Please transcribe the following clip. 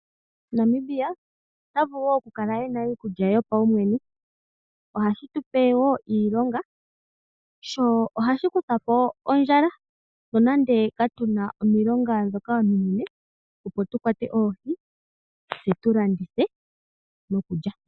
Namibia ota vulu woo okukala ena iikulya yopawumwene, ohashi tupe woo iilonga, sho ohashi kutha po ondjala, nonande ka tuna omilonga dhoka ominene opo tukwate oohi tse tulandithe noku lya.